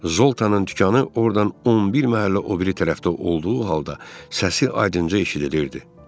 Zoltanın dükanı ordan 11 məhəllə o biri tərəfdə olduğu halda səsi aydınca eşidilirdi.